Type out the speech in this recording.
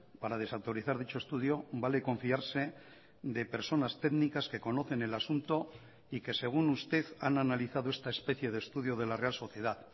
para desautorizar dicho estudio vale confiarse de personas técnicas que conocen el asunto y que según usted han analizado esta especie de estudio de la real sociedad